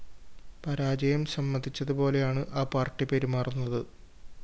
പരാജയം സമ്മതിച്ചതുപോലെയാണ് ആ പാര്‍ട്ടി പെരുമാറുന്നത്